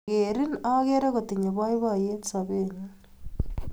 Akerin akere kotinye poipoyet sobennyu.